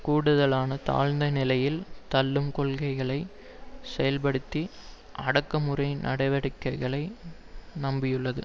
கூடுதலான தாழ்ந்த நிலையில் தள்ளும் கொள்கைகளை செயல்ப்படுத்த அடக்குமுறை நடவடிக்கைகளை நம்பியுள்ளது